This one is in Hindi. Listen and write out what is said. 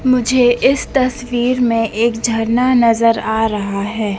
मुझे इस तस्वीर में एक झरना नजर आ रहा है।